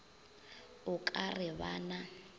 o ka re ba na